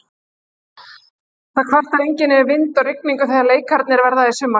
Það kvartar enginn yfir vind og rigningu þegar leikirnir verða í sumar.